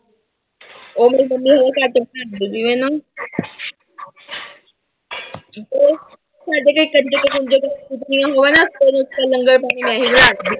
ਉਹ ਮੇਰੀ ਮੰਮੀ ਹਾਲੇ ਘੱਟ ਬਣਾਉਂਦੀ ਪਈ ਹੈ ਨਾ ਉਹ ਸਾਡੇ ਘਰੇ ਕੰਜਕ ਕੁੰਜਕ ਹੋਣ ਉਦੋਂ ਫਿਰ ਲੰਗਰ ਪਾਣੀ ਮੈਂ ਹੀ ਬਣਾਉਂਦੀ।